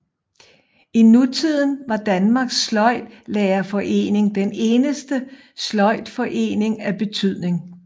I nutiden var Danmarks Sløjdlærerforening den eneste sløjdforening af betydning